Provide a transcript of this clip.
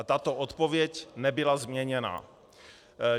A tato odpověď nebyla změněna.